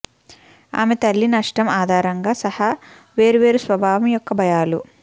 ఆమె తల్లి నష్టం ఆధారంగా సహా వేర్వేరు స్వభావం యొక్క భయాలు